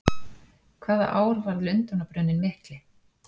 Hvaða ár varð Lundúnabruninn mikli?